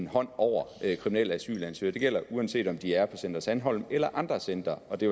holdt over kriminelle asylansøgere det gælder uanset om de er på center sandholm eller på andre centre og det